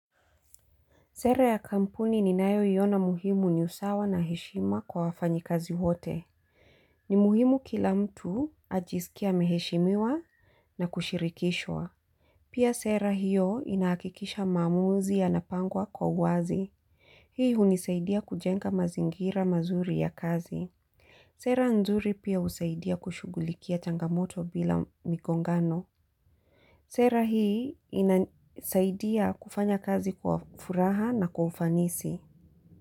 Sera ya kampuni ninayo iona muhimu ni usawa na heshima kwa wafanyikazi wote. Ni muhimu kila mtu ajisikie ameheshimiwa na kushirikishwa. Pia sera hiyo inahakikisha maamuzi yanapangwa kwa wazi. Hii hunisaidia kujenga mazingira mazuri ya kazi. Sera nzuri pia husaidia kushugulikia changamoto bila migongano. Sera hii inasaidia kufanya kazi kwa furaha na kwa ufanisi.